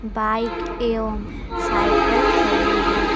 Bike एवं cycle खड़ी है।